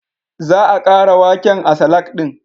Za a ƙara waken a salak ɗin